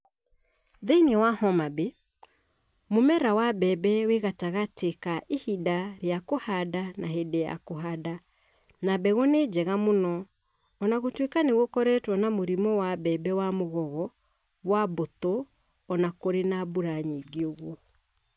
Thi͂ini Homabay, mu͂mera wa mbembe wĩ gatagatĩ ka ihinda ri͂a kũhanda na hĩndĩ ya kũhanda na mbegũ nĩ njega mũno o na gũtuĩka nĩ gũkoretwo na mũrimũ wa mbembe wa Mu͂gogo wa mbu͂tu͂ o na kũrĩ na mbura nyingĩ.